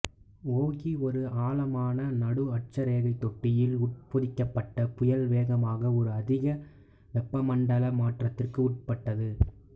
ஒகி ஒரு ஆழமான நடுஅட்சரேகை தொட்டியில் உட்பொதிக்கப்பட புயல் வேகமாக ஒரு அதிக வெப்பமண்டல மாற்றத்திற்கு உட்பட்டது